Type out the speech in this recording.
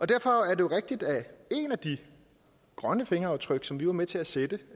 derfor er det rigtigt at et af de grønne fingeraftryk som vi var med til at sætte